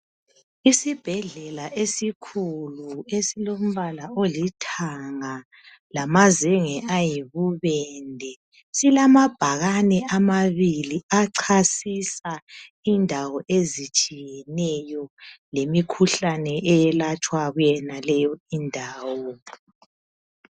Isibhedlela esikhulu esilombala olithanga lamazenge ayibubende. Silamabhakane amabili achasisa indawo ezitshiyeneyo lemikhuhlane eyelatshwa kuyonaleyo indawo.